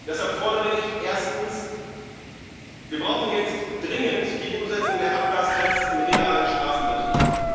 Deshalb fordere ich Erstens Wir brauchen jetzt dringend die Umsetzung der Abgastests im realen Straßenbetrieb.